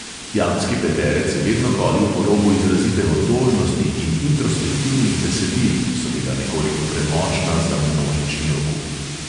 Jambski peterec je vedno hodil po robu izrazite otožnosti in introspektivnih besedil, ki so bila nekoliko premočna za množični okus.